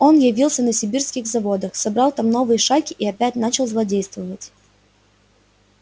он явился на сибирских заводах собрал там новые шайки и опять начал злодействовать